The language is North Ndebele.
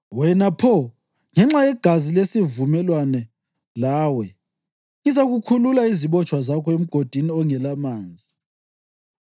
Wena pho, ngenxa yegazi lesivumelwano lawe, ngizakhulula izibotshwa zakho emgodini ongelamanzi.